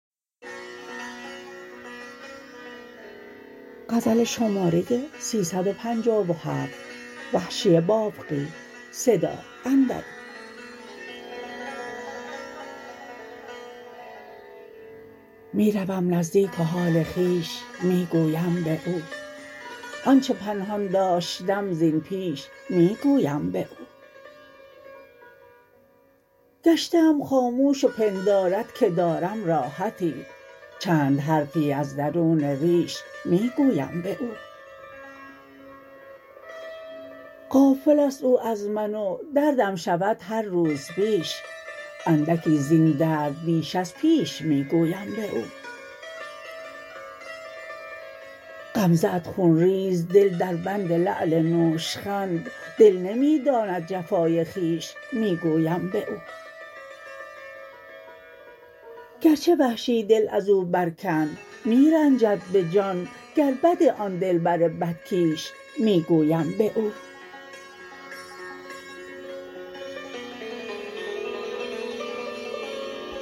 می روم نزدیک و حال خویش می گویم به او آنچه پنهان داشتم زین پیش می گویم به او گشته ام خاموش و پندارد که دارم راحتی چند حرفی از درون ریش می گویم به او غافل است او از من و دردم شود هر روز بیش اندکی زین درد بیش از پیش می گویم به او غمزه ات خونریز دل دربند لعل نوشخند دل نمی داند جفای خویش می گویم به او گرچه وحشی دل ازو بر کند می رنجد به جان گر بد آن دلبر بدکیش می گویم به او